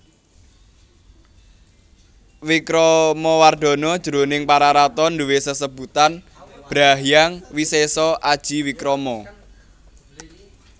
Wikramawardhana jroning Pararaton duwé sesebutan Bhra Hyang Wisesa Aji Wikrama